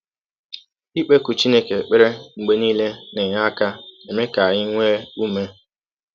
Ikpekụ Chineke ekpere mgbe nile na - enye aka eme ka anyị nwee ụme.